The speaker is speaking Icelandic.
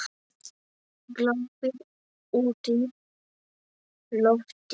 Glápir útí loftið.